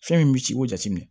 Fɛn min bɛ ci o jateminɛ